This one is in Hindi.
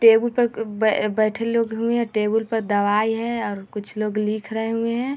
टेबल पर ब बैठे लोग हुए है टेबुल पर दवाई है और कुछ लोग लिख रहे हुए है।